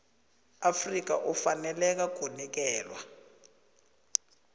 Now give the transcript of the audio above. afrika ufaneleka kunikelwa